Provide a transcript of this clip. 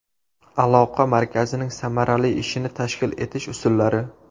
Aloqa markazining samarali ishini tashkil etish usullari.